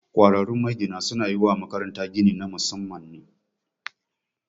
Ƙwararrun magina su na yi wa makaranta gini na Musamman ne